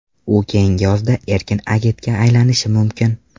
U keyingi yozda erkin agentga aylanishi mumkin.